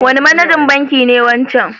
Wane manajan banki ne wancan?